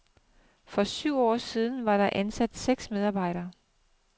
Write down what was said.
For syv år siden var der ansat seks medarbejdere.